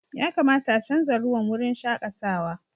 Ya kamata a chanza ruwan wurin shakatawa.